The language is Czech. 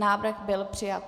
Návrh byl přijat.